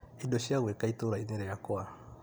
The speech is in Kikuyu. Indo cia gwĩka itũra-inĩ rĩakwa .